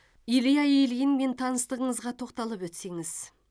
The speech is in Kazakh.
илья ильинмен таныстығыңызға тоқталып өтсеңіз